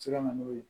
se ka na n'o ye